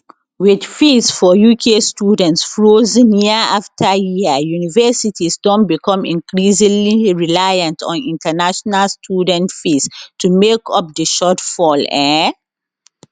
wit fees for uk students frozen year afta year universities don become increasingly reliant on international students fees to make up di shortfall um